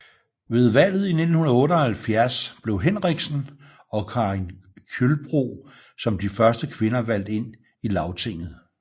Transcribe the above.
Ved valget i 1978 blev Henriksen og Karin Kjølbro som de første kvinder valgt ind i Lagtinget